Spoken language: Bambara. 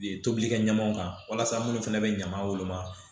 Tobilikɛɲɔgɔnw kan walasa minnu fana bɛ ɲama woloma